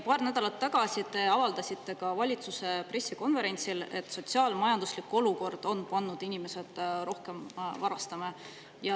Paar nädalat tagasi te avaldasite ka valitsuse pressikonverentsil, et sotsiaal‑majanduslik olukord on pannud inimesed rohkem varastama.